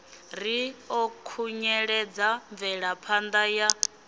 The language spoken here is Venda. ri ḓo khunyeledza mvelaphanda ya